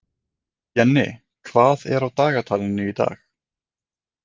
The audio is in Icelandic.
Jenni, hvað er á dagatalinu í dag?